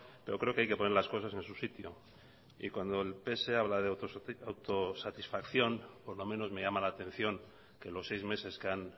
pero creo que hay que poner las cosas en su sitio y cuando el pse habla de autosatisfacción por lo menos me llama la atención que los seis meses que han